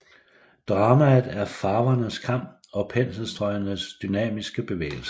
Dramaet er farvernes kamp og penselstrøgenes dynamiske bevægelser